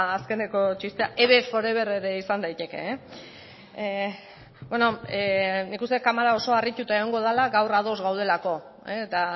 azkeneko txistea eve forever ere izan daiteke beno nik uste dut kamera oso harrituta egongo dala gaur ados gaudelako eta